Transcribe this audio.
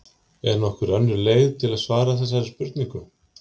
Er nokkur önnur leið til að svara þessari spurningu?